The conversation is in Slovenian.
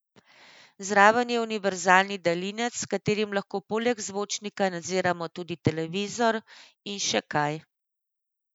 Zraven je univerzalni daljinec, s katerim lahko poleg zvočnika nadziramo tudi televizor in še kaj.